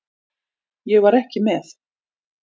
Ég var ekki með.